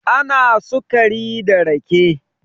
ana sukari da rake